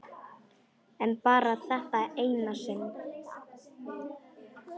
En bara þetta eina sinn.